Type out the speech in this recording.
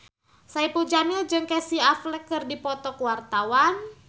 Saipul Jamil jeung Casey Affleck keur dipoto ku wartawan